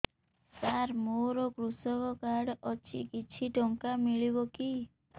ସାର ମୋର୍ କୃଷକ କାର୍ଡ ଅଛି କିଛି ଟଙ୍କା ମିଳିବ କି